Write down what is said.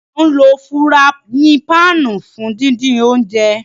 Àǹ lo furàyin pạạnu fun didin ounjẹ.